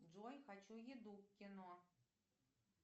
джой хочу еду кино